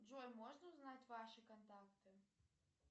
джой можно узнать ваши контакты